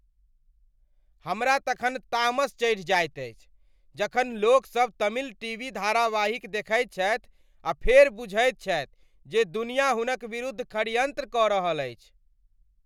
हमरा तखन तामस चढ़ि जायत अछि जखन लोकसभ तमिल टीवी धारावाहिक देखैत छथि आ फेर बुझैत छथि जे दुनिया हुनका विरुद्ध षड्यंत्र कऽ रहल अछि।